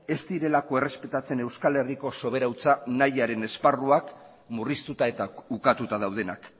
ez direlako errespetatzen euskal herriko subiranotasuna nahiaren esparruak murriztuta eta ukatuta daudenak